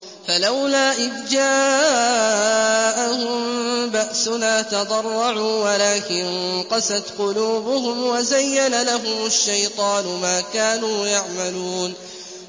فَلَوْلَا إِذْ جَاءَهُم بَأْسُنَا تَضَرَّعُوا وَلَٰكِن قَسَتْ قُلُوبُهُمْ وَزَيَّنَ لَهُمُ الشَّيْطَانُ مَا كَانُوا يَعْمَلُونَ